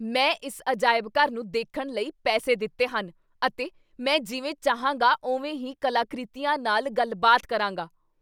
ਮੈਂ ਇਸ ਅਜਾਇਬ ਘਰ ਨੂੰ ਦੇਖਣ ਲਈ ਪੈਸੇ ਦਿੱਤੇ ਹਨ, ਅਤੇ ਮੈਂ ਜਿਵੇਂ ਚਾਹਾਂਗਾ ਉਵੇਂ ਹੀ ਕਲਾਕ੍ਰਿਤੀਆਂ ਨਾਲ ਗੱਲਬਾਤ ਕਰਾਂਗਾ!